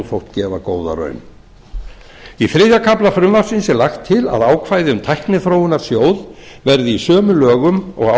þótt gefa góða raun í þriðja kafla frumvarpsins er lagt til að ákvæði um tækniþróunarsjóð verði í sömu lögum og